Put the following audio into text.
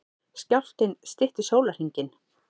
Skjálftinn stytti sólarhringinn